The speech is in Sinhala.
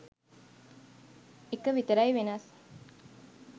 එක විතරයි වෙනස්.